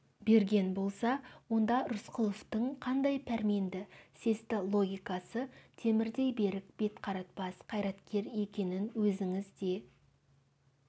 берген болса онда рысқұловтың қандай пәрменді сесті логикасы темірдей берік бетқаратпас қайраткер екенін өзіңіз де